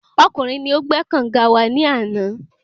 Ọkùnrin ni o gbé kànga wa ní àná